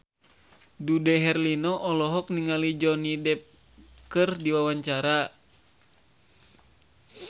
Dude Herlino olohok ningali Johnny Depp keur diwawancara